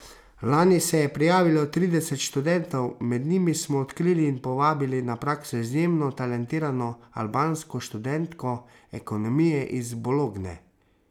Lani se je prijavilo trideset študentov, med njimi smo odkrili in povabili na prakso izjemno talentirano albansko študentko ekonomije iz Bologne.